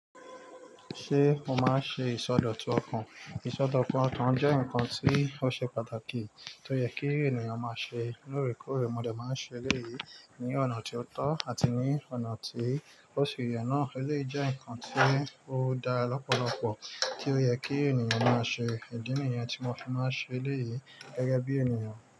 Ṣé o máa ń ṣe ìsọdọ̀tun ọkàn? Ìsọdọ̀kun ọkàn jẹ́ nǹkan tí ó ṣe pàtàkì tó yẹ kí ènìyàn máa ṣe. Lóore koore mo dẹ̀ máa ń ṣe eléyìí ní ọ̀nà ti o tọ́ àti ní ọ̀nà tí ó ṣi yẹ̀ náà. Eleyii jẹ́ ǹkan tí ó dara lọ́pọ̀lọpọ̀ tí ó yẹ kí ènìyàn máa ṣe. Ìdí nìyẹn tí mo fi máa ń ṣe léyìí gẹ́gẹ́ bí ènìyàn.